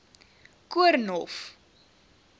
koornhof